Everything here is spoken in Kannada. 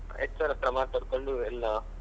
HR ಹತ್ರ ಮಾತಾಡ್ಕೊಂಡು ಎಲ್ಲಾ.